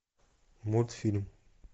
мультфильм